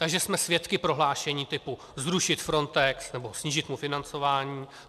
Takže jsme svědky prohlášení typu zrušit Frontex nebo snížit mu financování.